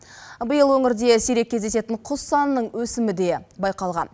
биыл өңірде сирек кездесетін құс санының өсімі де байқалған